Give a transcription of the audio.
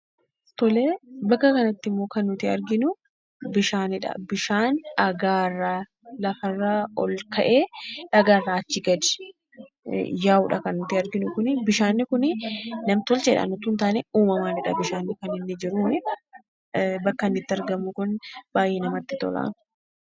Bakka kanatti immoo kan nuti arginuu, bishaanidha. Bishaan dhagaarraa, lafarraa ol ka'ee dhagaa irraa achi gad yaa'udha kan nuti arginu kunii. Bishaan kunii nam-tolcheedhaan osoo hin taane, uumamaanidha kan inni jiruunii. Bakka inni itti argamu Kun baayyee namatti tola.